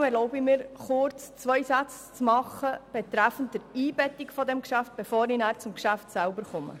Deshalb erlaube ich mir kurz zwei Sätze zur Einbettung dieses Geschäfts, bevor ich zum Geschäft selber komme.